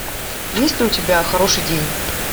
есть ли у тебя хороший день